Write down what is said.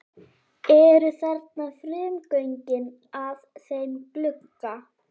Eru þarna frumgögnin að þeim glugga.